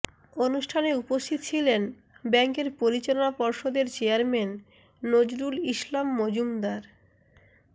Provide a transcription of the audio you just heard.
অনুষ্ঠানে উপস্থিত ছিলেন ব্যাংকের পরিচালনা পর্ষদের চেয়ারম্যান নজরুল ইসলাম মজুমদার